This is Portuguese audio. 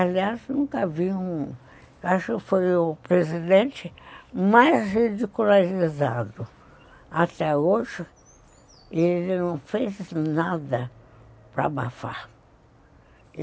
Aliás, nunca vi um... Acho que eu fui o presidente mais ridicularizado até hoje e ele não fez nada para abafar.